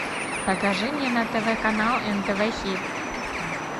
покажи мне на тв канал нтв хит